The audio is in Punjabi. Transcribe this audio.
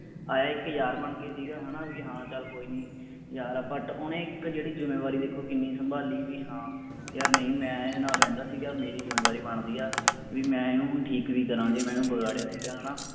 ਆਇਆ ਇੱਕ ਯਾਰ ਬਣ ਕੇ ਸੀਗਾ ਹੈ ਨਾ ਵੀ ਹਾਂ ਚੱਲ ਕੋਈ ਨੀ ਯਾਰ but ਓਹਨੇ ਇੱਕ ਜੇੜੀ ਜੁੰਮੇਵਾਰੀ ਦੇਖੋ ਕਿੰਨੀ ਸੰਭਾਲੀ ਵੀ ਹਾਂ ਯਾਰ ਨਹੀਂ ਮੈਂ ਇਹਦੇ ਨਾਲ ਰਹਿੰਦਾ ਸੀਗਾ ਮੇਰੀ ਜੁੰਮੇਵਾਰੀ ਬਣਦੀ ਹੈ ਵੀ ਮੈਂ ਇਹਨੂੰ ਹੁਣ ਠੀਕ ਵੀ ਕਰਾਂ ਜੇ ਮੈਂ ਇਹਨੂੰ ਵਿਗਾੜਿਆ ਸੀਗਾ ਹੈ ਨਾ।